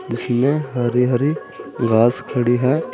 जिसमें हरी हरी घास खड़ी है।